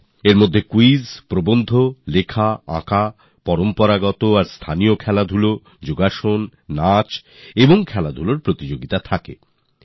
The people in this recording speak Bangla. এতে কুইজ প্রবন্ধ রচনা ছবি আঁকা পারম্পরিক এবং স্থানীয় ক্রীড়া যোগাসন ডান্স এবং ক্রীড়া প্রতিযোগিতার আয়োজন হনে